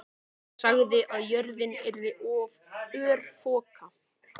Hann sagði að jörðin yrði örfoka.